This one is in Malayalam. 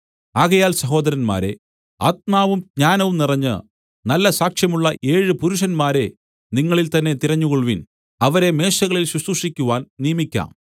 ആകയാൽ സഹോദരന്മാരേ ആത്മാവും ജ്ഞാനവും നിറഞ്ഞ് നല്ല സാക്ഷ്യമുള്ള ഏഴ് പുരുഷന്മാരെ നിങ്ങളിൽ തന്നേ തിരഞ്ഞുകൊൾവിൻ അവരെ മേശകളിൽ ശുശ്രൂഷിക്കുവാൻ നിയമിക്കാം